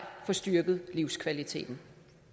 få styrket livskvaliteten